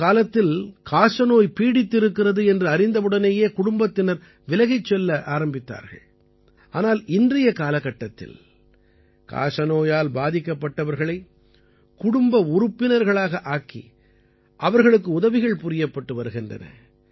ஒரு காலத்தில் காசநோய் பீடித்திருக்கிறது என்று அறிந்தவுடனேயே குடும்பத்தினர் விலகிச் செல்ல ஆரம்பித்தார்கள் ஆனால் இன்றைய காலகட்டத்தில் காசநோயால் பாதிக்கப்பட்டவர்களை குடும்ப உறுப்பினர்களாக ஆக்கி அவர்களுக்கு உதவிகள் புரியப்பட்டு வருகின்றன